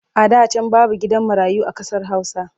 A da can babu gidan marayu a ƙasar Hausa.